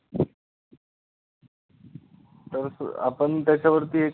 तर सू आपण त्याच्यावरती हे करू